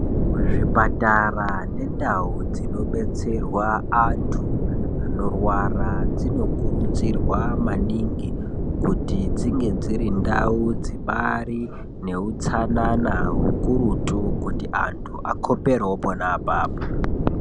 Muzvipatara nendau dzinobetserwa antu anorwara dzinokurudzirwa maningi kuti dzinge dziri ndau dzibaari nehutsanana hukurutu kuti antu akhoperewo pona apapo.